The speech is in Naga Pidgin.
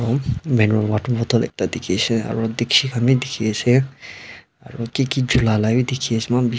maneral water bottle dikhishey aru dikchi khan bi dikhiase aro kiki cholai la bi dikhi--